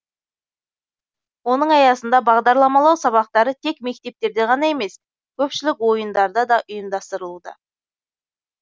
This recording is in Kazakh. оның аясында бағдарламалау сабақтары тек мектептерде ғана емес көпшілік ойындарда да ұйымдастырылуда